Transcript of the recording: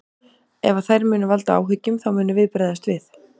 Ef að þær munu valda áhyggjum þá munum við bregðast við.